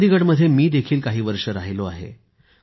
चंदीगड मध्ये मी देखील काही वर्ष राहिलो आहे